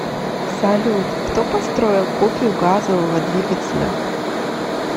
салют кто построил копию газового двигателя